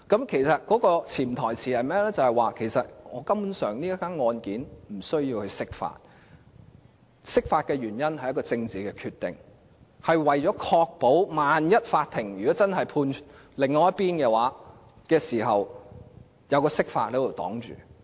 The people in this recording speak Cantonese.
其實潛台詞便是這宗個案根本無須釋法，釋法的原因是政治決定，是為了確保萬一法庭真的判另一邊勝訴時，還有釋法擋住。